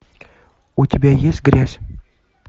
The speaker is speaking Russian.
у тебя есть грязь